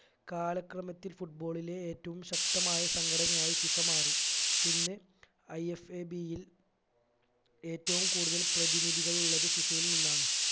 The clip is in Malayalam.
കാലക്രമത്തിൽ football ലെ ഏറ്റവും ശക്തമായ സംഘടനയായി FIFA മാറി ഇന്ന് IFAB യിൽ ഏറ്റവും കൂടുതൽ പ്രതിനിധികൾ ഉള്ളത് FIFA യിൽ നിന്നാണ്